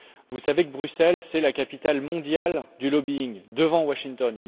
Vous savez que Bruxelles est la capitale mondiale du lobbying, devant Washington.